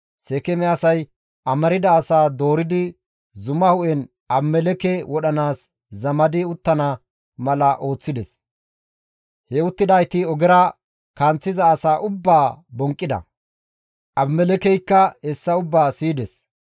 Seekeeme asay amarda asaa dooridi zuma hu7en Abimelekke wodhanaas zamadi uttana mala ooththides; he uttidayti ogera kanththiza asaa ubbaa bonqqida; Abimelekkeykka hessa ubbaa siyides.